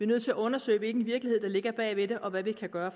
nødt til at undersøge hvilken virkelighed der ligger bag og hvad vi kan gøre